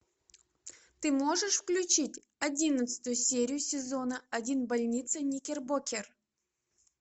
ты можешь включить одиннадцатую серию сезона один больница никербокер